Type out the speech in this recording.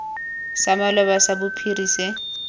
sa maloba sa bophiri se